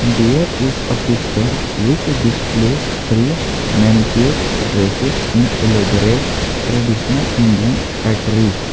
there is a picture which displays three maniquate dress in elaborate traditional Indian address.